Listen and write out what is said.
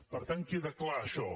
per tant queda clar això